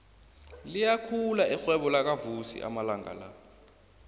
liyakhula irhwebo lakavusi amalanga la